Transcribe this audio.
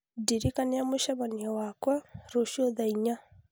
Ndirikania mũcemanio wakwa rũciũ thaa inya